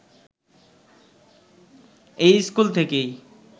এই স্কুল থেকেই